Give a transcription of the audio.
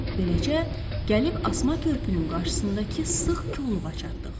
Beləcə gəlib asma körpünün qarşısındakı sıx kolluğa çatdıq.